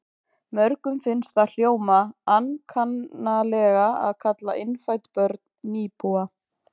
Mörgum finnst það hljóma ankannalega að kalla innfædd börn nýbúa.